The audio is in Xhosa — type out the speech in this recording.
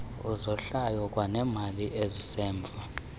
izohlwayo kwanemali esisemva